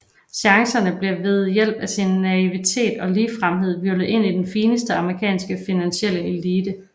Chance bliver ved hjælp af sin naivitet og ligefremhed hvirvlet ind i den fineste amerikanske finansielle elite